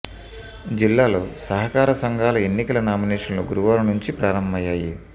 జిల్లాలో సహకార సంఘాల ఎన్నికల నామినేషన్లు గురు వారం నుంచి ప్రారంభమయ్యాయి